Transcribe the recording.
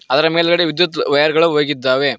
ಅದರ ಮೇಲ್ಗಡೆ ವಿದ್ಯುತ್ ವಯರ್ ಗಳು ಹೋಗಿದ್ದಾವೆ.